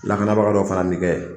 Lakanabaga dɔ fana bɛ kɛ